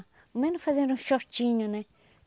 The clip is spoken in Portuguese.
Ao menos fazer um shortinho, né?